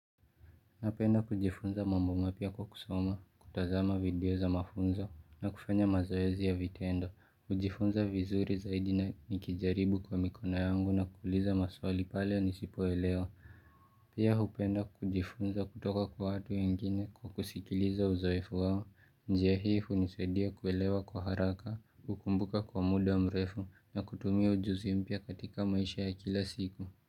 Napenda kujifunza mambo mapya kwa kusoma, kutazama video za mafunzo na kufanya mazoezi ya vitendo. Kujifunza vizuri zaidi na nikijaribu kwa mikono yangu na kuuliza maswali pale nisipoelewa. Pia hupenda kujifunza kutoka kwa watu wengine kwa kusikiliza uzoefu wao. Njia hii hunisaidia kuelewa kwa haraka, kukumbuka kwa muda mrefu na kutumia ujuzi mpya katika maisha ya kila siku.